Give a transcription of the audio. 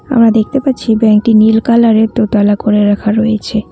আমরা দেখতে পারছি ব্যাঙ্ক -টি নীল কালার -এর দোতলা করে রাখা রয়েছে।